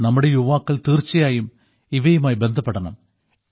നമ്മുടെ യുവാക്കൾ തീർച്ചയായും ഇവയുമായി ബന്ധപ്പെടണം